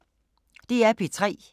DR P3